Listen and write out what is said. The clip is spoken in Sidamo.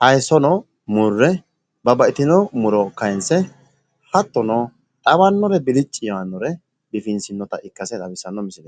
haaysono murre babbaxxino muro kaaynse hattono, xawannore bilicci yaanore biifinsoonnita ikkase xawissanno misileeti.